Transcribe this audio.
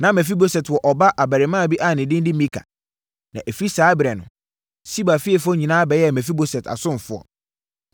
Na Mefiboset wɔ ɔba abarimaa bi a ne din de Mika. Na ɛfiri saa ɛberɛ no, Siba fiefoɔ nyinaa bɛyɛɛ Mefiboset asomfoɔ.